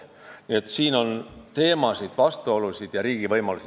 Nii et siin on väga palju teemasid, vastuolusid ja riigi võimalusi.